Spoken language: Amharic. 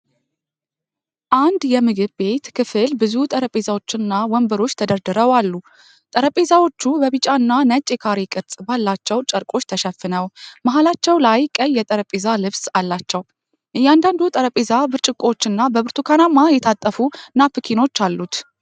አንድ የምግብ ቤት ክፍል ብዙ ጠረጴዛዎች እና ወንበሮች ተደርድረው አሉ። ጠረጴዛዎቹ በቢጫና ነጭ የካሬ ቅርጽ ባላቸው ጨርቆች ተሸፍነው፣ መሃላቸው ላይ ቀይ የጠረጴዛ ልብስ አላቸው። እያንዳንዱ ጠረጴዛ ብርጭቆዎች እና በብርቱካናማ የታጠፉ ናፕኪኖች አሉት።